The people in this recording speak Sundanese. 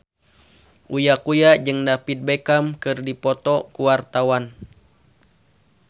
Uya Kuya jeung David Beckham keur dipoto ku wartawan